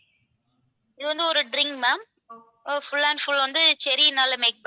இது வந்து ஒரு drink ma'am full and full வந்து cherry னால make பண்ணது.